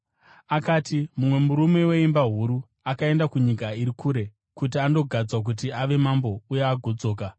Akati, “Mumwe murume weimba huru, akaenda kunyika iri kure kuti andogadzwa kuti ave mambo uye agodzoka.